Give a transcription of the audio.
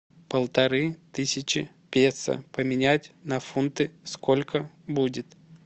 полторы тысячи песо поменять на фунты сколько будет